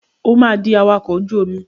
O máa di awakọ̀ ojú omi.